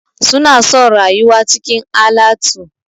Suna son rayuwa cikin alatu.